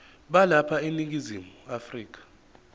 balapha eningizimu afrika